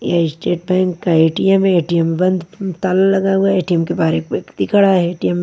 यह state bank का ATM है ए_टी_एम बंद ताला लगा हुआ हैए_टी_एम के बाहर एक व्यक्ति खड़ा है ए_टी_एम --